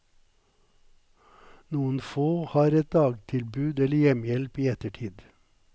Noen får et dagtilbud eller hjemmehjelp i ettertid.